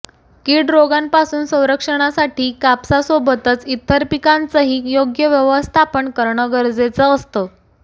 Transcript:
कीड रोगांपासून संरक्षणासाठी कापसा सोबतच इतर पिकांचंही योग्य व्यवस्थापन करणं गरजेचं असतं